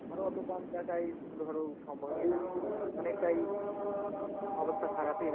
আমারও অতো কম টাকায় ধরো সম্ভবই না, অনেকটাই অবস্থা খারাপই।